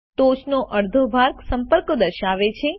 ટોચનો અડધો ભાગ સંપર્કો દર્શાવે છે